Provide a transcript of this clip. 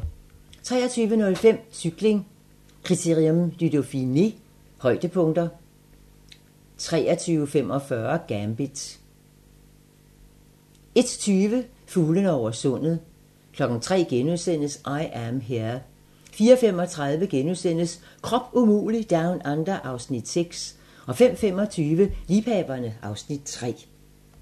23:05: Cykling: Critérium du Dauphiné - højdepunkter 23:45: Gambit 01:20: Fuglene over sundet 03:00: I Am Here * 04:35: Krop umulig Down Under (Afs. 6)* 05:25: Liebhaverne (Afs. 3)